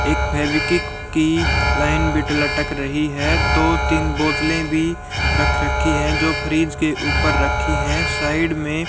एक फेवीक्विक की लाईन भी लटक रही है। दो तीन बोतले भी रख रखी है जो फ्रिज के ऊपर रखी है साइड में।